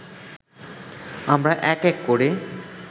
আমরা এক এক করে